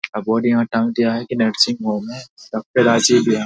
अब बोर्ड यहाँ टांग दिया है कि नर्सिग होम है। डॉक्टर राज़ी भी हैं ।